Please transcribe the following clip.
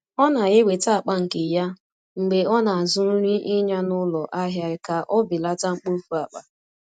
O na-eweta akpa nke ya mgbe ọ na-azụ nri ịnya n’ụlọ ahịa ka o belata mkpofu akpa.